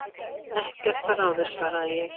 Ekkert að ráði svaraði ég.